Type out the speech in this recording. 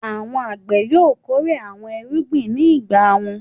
Àwọn àgbẹ̀ yóò kórè àwọn irúgbìn ní ìgbà wọn.